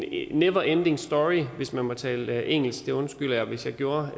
never ending story hvis man må tale engelsk og det undskylder jeg hvis jeg gjorde